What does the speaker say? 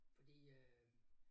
Fordi øh